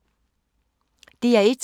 DR1